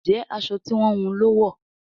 Njé aṣọ tí wón wun ló wọ?